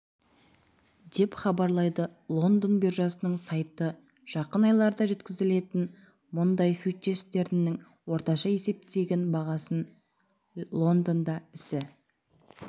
деп хабарлайды лондон биржасының сайты жақын айларда жеткізілетін мұнай фьючерстерінің орташа есептеген бағасы лондонда ісі